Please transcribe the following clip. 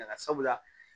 sabula